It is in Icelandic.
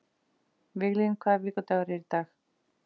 Viglín, hvaða vikudagur er í dag?